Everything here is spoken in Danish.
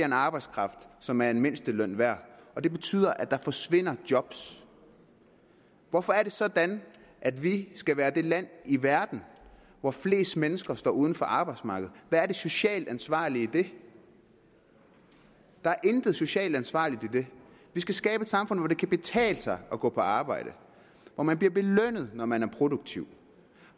arbejdskraft som er en mindsteløn værd og det betyder at der forsvinder job hvorfor er det sådan at vi skal være det land i verden hvor flest mennesker står uden for arbejdsmarkedet hvad er det socialt ansvarlige i det der er intet socialt ansvarligt i det vi skal skabe et samfund hvor det kan betale sig at gå på arbejde hvor man bliver belønnet når man er produktiv